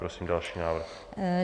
Prosím další návrh.